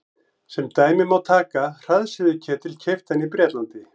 Sem dæmi má taka hraðsuðuketil keyptan í Bretlandi.